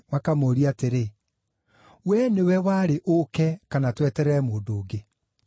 makamũũrie atĩrĩ, “Wee nĩwe warĩ ũũke, kana tweterere mũndũ ũngĩ?”